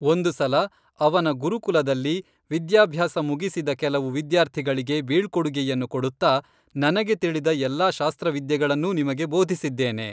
ಒಂದು ಸಲ ಅವನ ಗುರುಕುಲದಲ್ಲಿ ವಿದ್ಯಾಭ್ಯಾಸ ಮುಗಿಸಿದ ಕೆಲವು ವಿದ್ಯಾರ್ಥಿಗಳಿಗೆ ಬೀಳ್ಕೊಡುಗೆಯನ್ನು ಕೊಡುತ್ತಾ ನನಗೆ ತಿಳಿದ ಎಲ್ಲ ಶಾಸ್ತ್ರವಿದ್ಯೆಗಳನ್ನೂ ನಿಮಗೆ ಬೋಧಿಸಿದ್ದೇನೆ